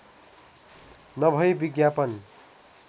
नभई विज्ञापन